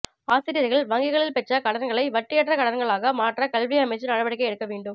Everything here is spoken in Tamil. ஆசிரியர்கள் வங்கிகளில் பெற்ற கடன்களை வட்டியற்ற கடன்களாக மாற்ற கல்வி அமைச்சு நடவடிக்கை எடுக்க வேண்டும்